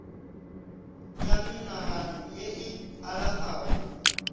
ya menagano ye e alafago